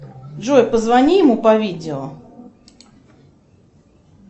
джой позвони ему по видео